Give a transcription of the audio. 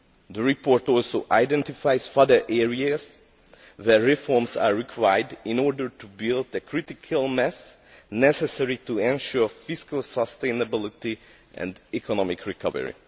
The report also identifies further areas where reforms are required in order to build the critical mass necessary to ensure fiscal sustainability and economic recovery.